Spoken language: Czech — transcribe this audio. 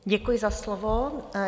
Děkuji za slovo.